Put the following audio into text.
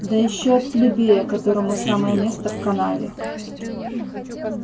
да ещё от плебея которому самое место в канаве